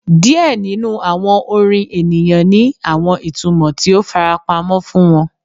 Diẹ ninu awọn orin eniyan ni awọn itumọ ti o farapamọ fun wọn